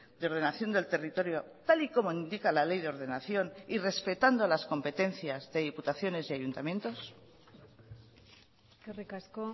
de ordenación del territorio tal y como indica la ley de ordenación y respetando las competencias de diputaciones y ayuntamientos eskerrik asko